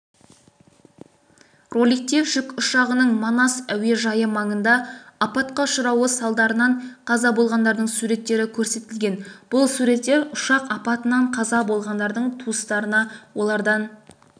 роликте жүк ұшағының манас әуежайы маңында апатқа ұшырауы салдарынан қаза болғандардың суреттері көрсетілген бұл суреттер ұшақ апатынан қаза болғандардың туыстарына олардан